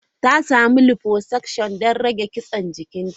Ta samu liposuction don rage kitsen cikinta.